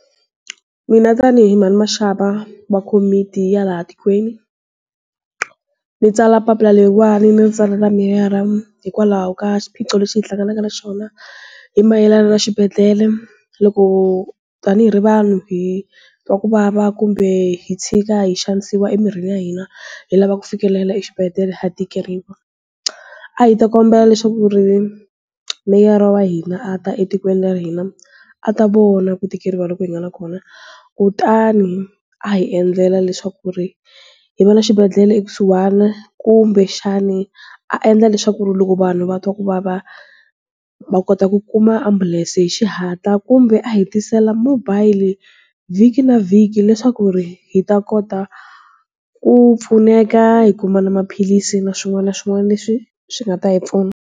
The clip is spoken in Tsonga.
Mina tanihi mhani Mashava va komiti ya laha tikweni. Ndzi tsala papila leriwani ni ntsala meyara hikwalaho ka xiphiqo lexi hi hlanganaka na xona, hi mayelana na xibedhlele. Loko tanihi ri vanhu hi twa kuvava kumbe hi tshika hi xanisiwa emirhini ya hina, hi lava ku fikelela exibedele ha tikeriwa. A hi ta kombela leswaku ri, meyara wa hina a ta etikweni ra hina, a ta vona ku tikeriwa loko hi nga na kona. Kutani, a hi endlela leswaku ri, hi va na xibedhlele ekusuhana kumbexani, a endla leswaku ri loko vanhu va twa ku vava, va kota ku kuma ambulence-i hi xihatla kumbe a hi tisela mobile, vhiki na vhiki leswaku ri, hi ta kota, ku pfuneka hi kuma na maphilisi na swin'wana na swin'wana leswi swi nga ta hi pfuna.